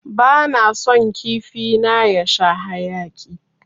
Bana son kifi na ya sha haƴaki.